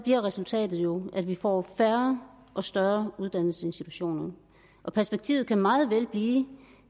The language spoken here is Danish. bliver resultatet jo at vi får færre og større uddannelsesinstitutioner og perspektivet kan meget vel blive